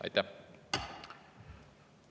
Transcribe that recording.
Aitäh!